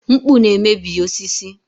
Mkpụ na-emebi osisi.